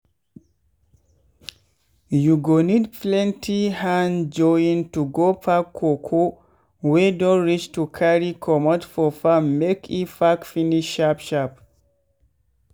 you go need plenty hand join to go pack cocoa wey don reach to carrry comot for farm make e pack finish sharp sharp.